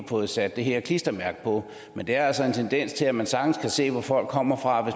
fået sat her klistermærke på men der er altså en tendens til at man sagtens kan se hvor folk kommer fra